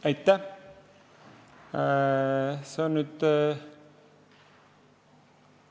Aitäh!